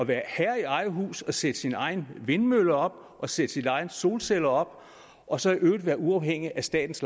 være herre i eget hus at sætte sin egen vindmølle op og sætte sine egne solceller op og så i øvrigt være uafhængig af statens